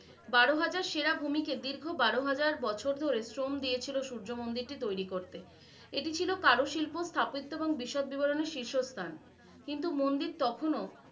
বারো হাজার সেরা ভূমিকে দীর্ঘ বারো হাজার বছর ধরে শ্রম দিয়েছিলো সূর্য মন্দিরটি তৈরি করতে । এটি ছিলো কারুশিল্প স্থাপিত্ব এবং বিশদ বিবরনের শীর্ষ স্থান, কিন্তু মন্দির তখনও